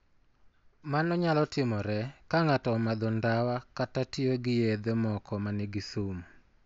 Mano nyalo timore ka ng'ato omadho ndawa kata tiyo gi yedhe moko ma nigi sum.